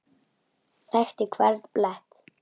Þekkti hvern blett.